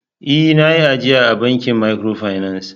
Ee! Na yi ajiya a bankin microfinance.